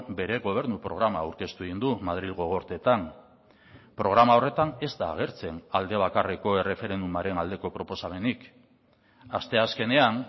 bere gobernu programa aurkeztu egin du madrilgo gorteetan programa horretan ez da agertzen alde bakarreko erreferendumaren aldeko proposamenik asteazkenean